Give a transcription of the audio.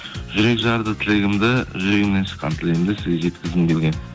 жүрек жарды тілегімді жүрегімнен шыққан тілегімді сізге жеткізгім келген